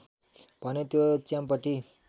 भने त्यो च्याम्पटी